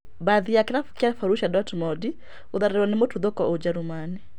Mbathi ya kĩrabu kĩa B.Dortmund gũtharĩrwo nĩ mũtuthũko ũjerũmani